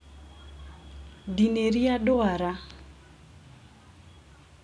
Ndinĩria dwara.